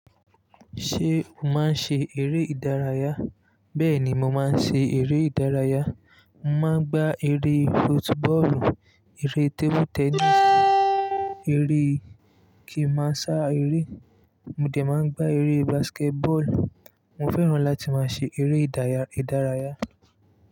Ṣé o máa ń ṣe eré ìdárayá? Bẹ́ẹ̀ ni, mo máa ń ṣe eré ìdárayá. Mo máa ń gbá eré football, eré table tennis, eré kí ń máa sá eré. Mo de máa ń gbá eré basketball. Mo fẹ́ràn láti máa ṣe eré ìdárayá.